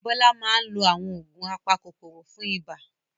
Bola máa ń lo àwọn oògùn apakòkòrò fún ibà.